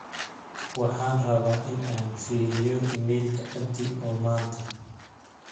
waxaan rabaa in aan firiyo iimaylka abdi oo maanta